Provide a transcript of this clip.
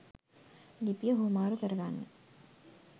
ලිපිය හුවමාරු කරගන්න